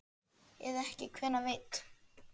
Eða ekki, hver veit?